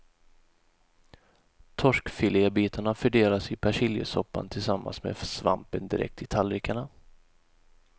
Torskfilébitarna fördelas i persiljesoppan tillsammans med svampen direkt i tallrikarna.